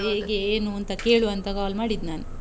ಹೇಗೆ ಏನು ಅಂತ ಕೇಳ್ವ ಅಂತ call ಮಾಡಿದ್ದ್ ನಾನು.